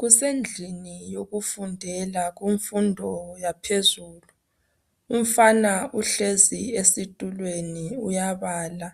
Kusendlini yokufundela, kumfundo yaphezulu umfana uhlezi esitulweni uyabala